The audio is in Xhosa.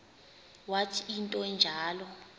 wathi into enjalo